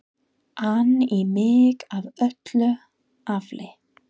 an í mig af öllu afli.